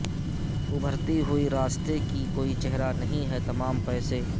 ابھرتی ہوئی راستے کی کوئی چہرہ نہیں ہے تمام پیسے